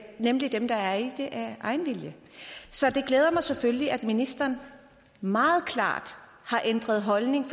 nemlig dem der er i det af egen vilje så det glæder mig selvfølgelig at ministeren meget klart har ændret holdning